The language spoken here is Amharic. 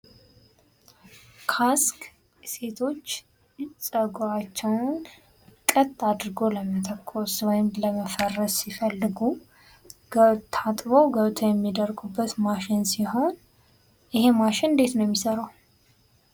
ካስክ ሴቶች ጸጉራቸውን ቀጥ አድርጎ ለመተኮስ ወይም ለመፈረዝ ሲፈልጉ ታጥበው ገብተው የሚደርቁበት ማሽን ሲሆን ይሄ ማሽን እንዴት ነው የሚሰራው?